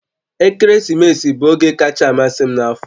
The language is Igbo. Ekeresimesi bụ oge kacha amasị m n'afọ